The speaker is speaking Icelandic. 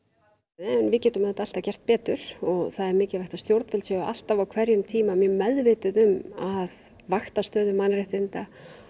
en við getum auðvitað alltaf gert betur það er mikilvægt að stjórnvöld séu alltaf á hverjum tíma meðvituð um að vakta stöðu mannréttinda